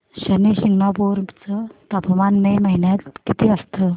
शनी शिंगणापूर चं तापमान मे महिन्यात किती असतं